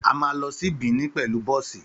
Àmá lọ sí Benin pẹlú bọ̀sí